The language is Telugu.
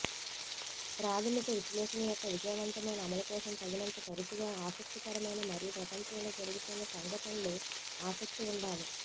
ప్రాథమిక విశ్లేషణ యొక్క విజయవంతమైన అమలు కోసం తగినంత తరచుగా ఆసక్తికరమైన మరియు ప్రపంచంలో జరుగుతున్న సంఘటనలు ఆసక్తి ఉండాలి